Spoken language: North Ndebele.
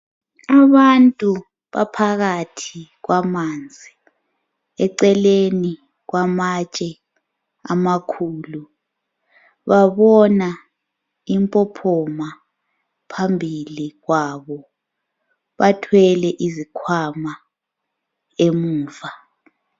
Abantu baphakathi kwamanzi, eceleni kwamatshe amakhulu, babona impophoma phambili kwabo, bathwele izikhwama emuva.